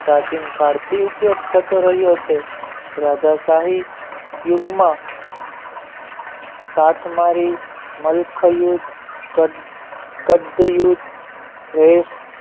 cheating card થી ઉપયોગ થતો રહ્યો છે રાધાશાહી યુગમાં સાથ મારી મલખયુદ્ધ રેસ